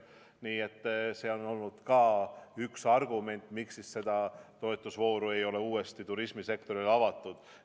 Nii et see on olnud ka üks argument, miks seda toetusvooru ei ole uuesti turismisektorile avatud.